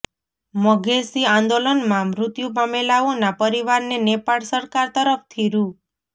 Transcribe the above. મધેશી આંદોલનમાં મૃત્યુ પામેલાઓના પરિવારને નેપાળ સરકાર તરફથી રૂ